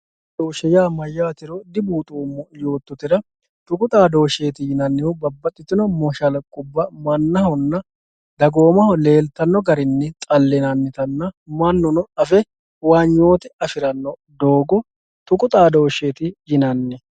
tuqu xaadooshe yaa mayaatero dibuuxoomo yoototera tuqu xaadoosheti yinannihu babbaxitino mashalakubba mannahonna dagoomaho leeltanno garinni xallinannitanna mannunno afe huwanyoote afiranno doogo tuqu xadoosheeti yinanni